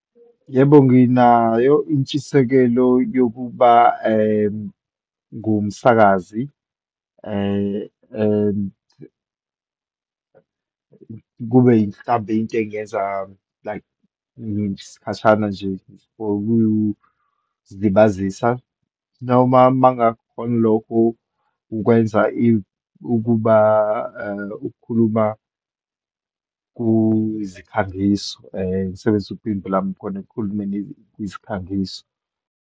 Yebo, nginayo intshisekelo yokuba ngumsakazi and kube mhlawumbe, into engiyenza like isikhashana nje for ukuzilibazisa noma uma ngakukhoni lokho, ukwenza ukuba, ukukhuluma kuzikhangiso, ngisebenzise upimbo lami khona ekukhulumeni kwizikhangiso.